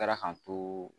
Kɛra k'an to